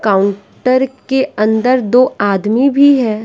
Counter के अंदर दो आदमी भी है।